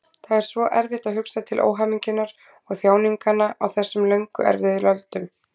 Það er svo erfitt að hugsa til óhamingjunnar og þjáninganna á þessum löngu erfiðu öldum.